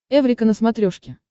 эврика на смотрешке